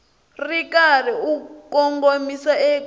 ri karhi u kongomisa eka